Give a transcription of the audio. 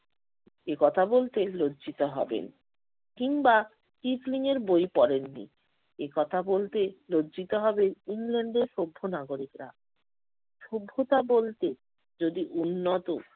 একথা বলতে লজ্জিত হবেন। কিংবা টিফলিংয়ের বই পড়েননি একথা বলতে লজ্জিত হবেন ইংল্যান্ডের সভ্য নাগরিকরা। সভ্যতা বলতে যদি উন্নত